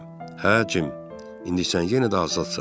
"Hə, Cim, indi sən yenə də azadsan.